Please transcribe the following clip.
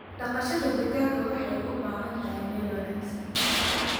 Dhaqashada digaaga waxay u baahan tahay meel wanaagsan.